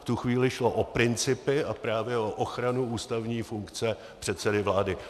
V tu chvíli šlo o principy a právě o ochranu ústavní funkce předsedy vlády.